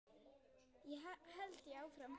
held ég áfram.